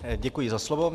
Děkuji za slovo.